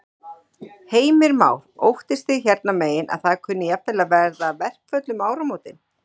Heimir Már: Óttist þið hérna megin að það kunni jafnvel að verða verkföll um áramótin?